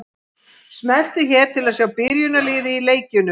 Smelltu hér til að sjá byrjunarliðin í leikjunum.